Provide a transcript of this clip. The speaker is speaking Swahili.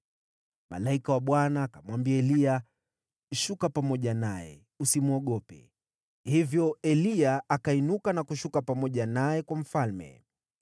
Malaika wa Bwana akamwambia Eliya, “Shuka pamoja naye, usimwogope.” Hivyo Eliya akainuka na kushuka pamoja naye kwa mfalme.